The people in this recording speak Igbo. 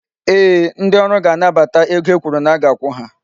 Ee, ndị ọrụ ga-anabata ego e kwuru na-aga akwụ ha.